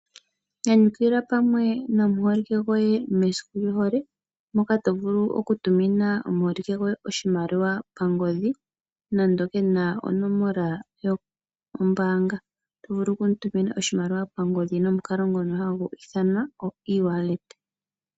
Nyanyukilwa pamwe nomuholike goye mesiku lyohole moka tovulu okutumina omuholike gohe oshimaliwa pangodhi nande kena onomola yombanga. Oto vulu okumutumina oshimaliwa pangodhi nomukalo ngoka hagu ithanwa oewallet.